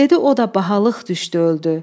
Dedi o da bahalıq düşdü öldü.